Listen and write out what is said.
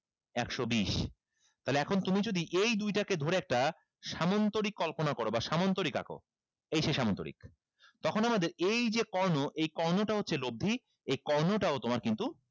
একশো বিশ তাইলে এখন তুমি যদি এই দুইটাকে ধরে একটা সামন্তরিক কল্পনা করো বা সামন্তরিক আঁকো এই সেই সামন্তরিক তখন আমাদের এই যে কর্ণ এই কর্ণটা হচ্ছে লব্দি এই কর্ণটা ও তোমার কিন্তু